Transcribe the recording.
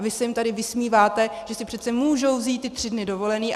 A vy se jim tady vysmíváte, že si přeci můžou vzít ty tři dny dovolené.